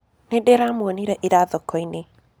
Nĩndĩramwonĩre ĩra thokoĩnĩ